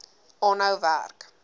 aanhou werk